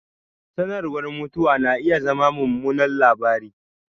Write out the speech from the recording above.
Sanarwar mutuwa na iya zama mummunan labari